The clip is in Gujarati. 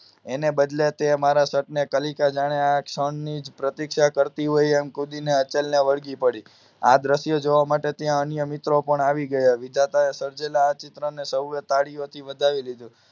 એને બદલે તે મારા શર્ટ ને કલીકા જાણે આ ક્ષણિ જ પ્રતીક્ષા કરતી હોય એમ કૂદીને અચલ ને વળગી પડી આ દ્રશ્ય જોવા માટે ત્યાં અન્ય મિત્રો પણ આવી ગયા વિધાતાએ સર્જેલા આ ચિત્ર ને લોકોએ તાળીઓથી વધવી લીધું